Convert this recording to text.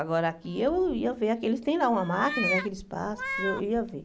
Agora aqui eu ia ver aqueles, tem lá uma máquina, né, que eles passam, eu ia ver.